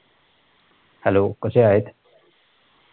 hello कशे आहेत